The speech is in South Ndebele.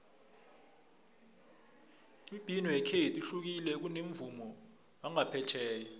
imibhino yekhethu ihlukile kunomvumo wangaphetjheya